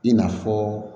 I n'a fɔ